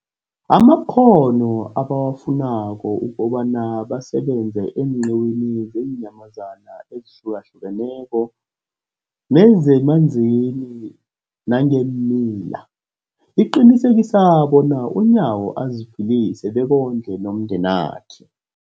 amakghono ebawafunako ukobana basebenze eenqiwini zeenyamazana ezihlukahlukeneko nezemanzini nangeemila, liqinisekisa bona uNyawo aziphilise bekondle nomndenakhe.